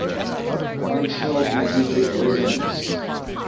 functional magnetic resonance